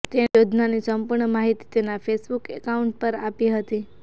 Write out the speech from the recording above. તેણે યોજનાની સંપૂર્ણ માહિતી તેના ફેસબુક એકાઉન્ટ પર આપી હતી